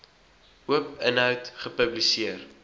oop inhoud gepubliseer